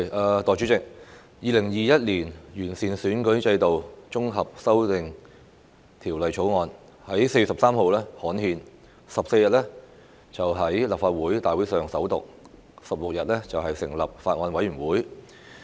代理主席，《2021年完善選舉制度條例草案》在4月13日刊憲 ，14 日在立法會大會上首讀 ，16 日成立法案委員會。